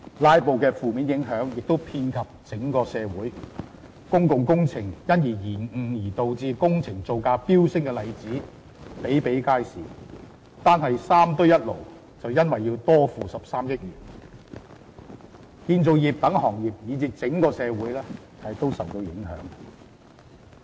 "拉布"的負面影響亦遍及整體社會，公共工程因而延誤而導致工程造價飆升的例子比比皆是，單是"三堆一爐"便因此要多付13億元，建造業等行業以至整個社會也受到影響。